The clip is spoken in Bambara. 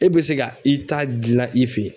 E bɛ se ka i ta dilan i fɛ yen.